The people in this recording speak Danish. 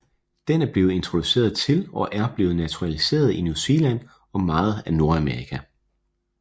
Den er blevet introduceret til og er blevet naturaliseret i New Zealand og meget af Nordamerika